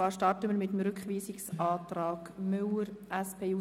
Wir beginnen mit dem Rückweisungsantrag Müller, SP-JUSO-PSA.